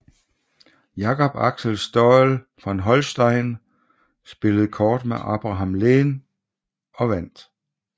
Jacob Axel Staël von Holstein spillede kort med Abraham Lehn og vandt